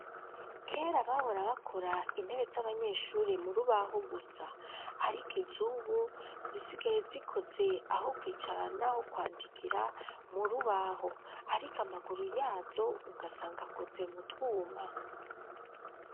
Kera bahora bakora intebe z'abanyeshuri mu rubaho gusa ariko izubu zisigaye zikoze aho kwicara naho kwandikira mu rubaho ariko amaguru yazo ugasanga akoze mu twuma.